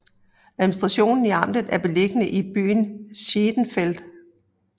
Administrationen i amtet er beliggende i byen Schenefeld